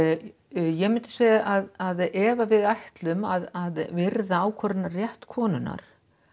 ég myndi segja að ef að við ætlum að virða ákvörðunarrétt konunnar